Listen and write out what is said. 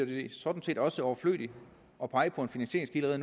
det sådan set også er overflødigt at pege på en finansieringskilde